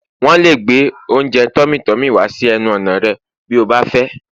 wón le gbe ounjẹ tummy tummy wá sí ẹnu ọnà rẹ bi o ba fẹ